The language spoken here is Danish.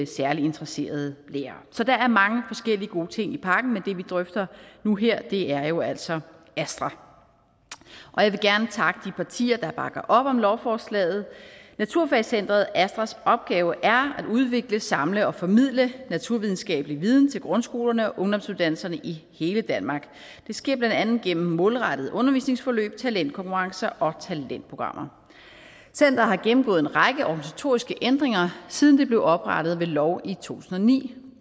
særlig interesserede lærere så der er mange forskellige gode ting i pakken men det vi drøfter nu her er jo altså astra og jeg vil gerne takke de partier der bakker op om lovforslaget naturfagscenteret astras opgave er at udvikle samle og formidle naturvidenskabelig viden til grundskolerne og ungdomsuddannelserne i hele danmark det sker blandt andet gennem målrettede undervisningsforløb talentkonkurrencer og talentprogrammer centeret har gennemgået en række organisatoriske ændringer siden det blev oprettet ved lov i tusind og ni